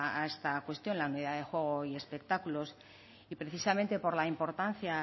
a esta cuestión la unidad de juego y espectáculos y precisamente por la importancia